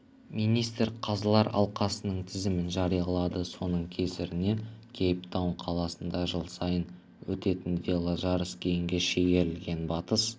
министр қазылар алқасының тізімін жариялады соның кесірінен кейптаун қаласында жыл сайын өтетін веложарыс кейінге шегерілген батыс